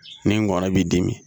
Ni ngɔnɔn b'i dimi